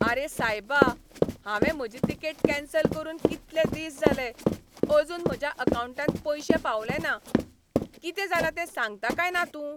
आरे सायबा, हांवें म्हजी तिकेट कॅन्सल करून कितले दीस जाले, अजून म्हज्या अकावंटांत पयशे पावले ना. कितें जालां तें सांगता काय ना तूं?